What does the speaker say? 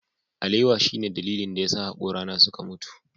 Alewa shine dalilin da yasa hakorana suka mutu.